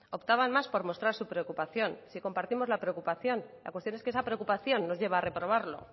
optaban más por mostrar su preocupación si compartimos la preocupación la cuestión es que esa preocupación nos lleva a reprobarlo